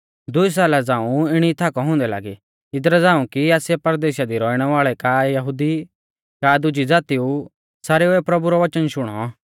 दुई साला झ़ांऊ इणी थाकौ हुंदै लागी इदरा झ़ांऊ कि आसिया परदेशा दी रौइणै वाल़ै का यहुदी का दुजी ज़ातिऊ सारेउऐ प्रभु रौ वचन शुणौ